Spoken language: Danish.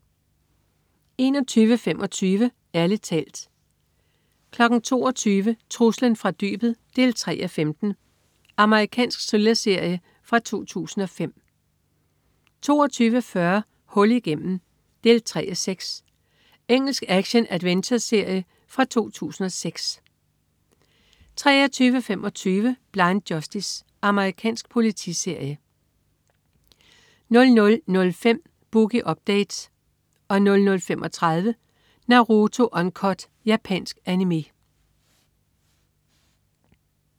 21.25 Ærlig talt 22.00 Truslen fra dybet 3:15. Amerikansk thrillerserie fra 2005 22.40 Hul igennem 3:6. Engelsk action-adventureserie fra 2006 23.25 Blind Justice. Amerikansk politiserie 00.05 Boogie Update 00.35 Naruto Uncut. Japansk Animé